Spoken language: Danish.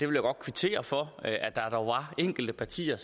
vil godt kvittere for at der er enkelte partier